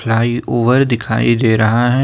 Fly over दिखाई दे रहा हैं।